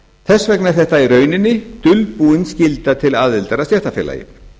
þess vegna er þetta í rauninni dulbúin skylda til aðildar að stéttarfélagi